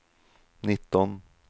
nitton